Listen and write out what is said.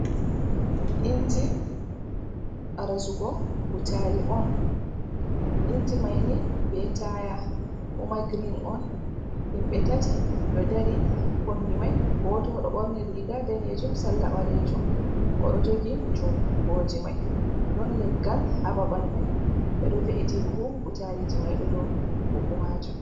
lnji , ɓarazugo butali on ,inji maini ɓe taya, kuma girin on, himɓe tati ɗo dari ha kombi mai, goto do borni riga danejuum salla balejuum, oɗo jogi jungoji mai, den leggal ha babal mai beɗo ve’iti buhu butaliji mai, dou buhu majuum.